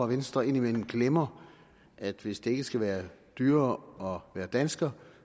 venstre indimellem glemmer at hvis det ikke skal være dyrere at være dansker